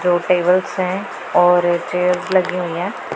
दो टेबल्स है और चेयर्स लगी हुई हैं।